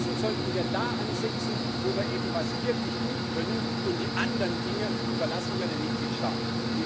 Stattdessen sollten wir da ansetzen, wo wir eben etwas wirklich gut können, und die anderen Dinge überlassen wir den Mitgliedstaaten.